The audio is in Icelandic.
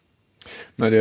María